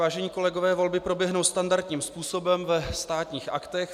Vážení kolegové, volby proběhnou standardním způsobem ve Státních aktech.